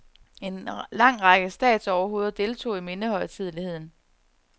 En lang række statsoverhoveder deltog i mindehøjtideligheden.